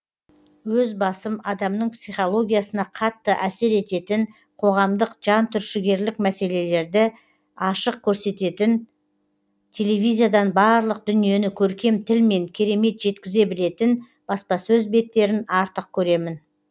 өз басым адамның психологиясына қатты әсер ететін қоғамдық жантүршігерлік мәселерді ашық көрсететін телевизиядан барлық дүниені көркем тілмен керемет жеткізе білетін баспасөз беттерін артық көремін